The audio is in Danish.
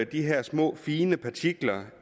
de her små fine partikler